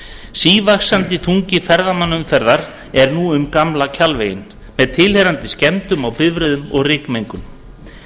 sívaxandi þungi ferðamannaumferðar er nú á gamla kjalvegi með tilheyrandi skemmdum á bifreiðum og rykmengun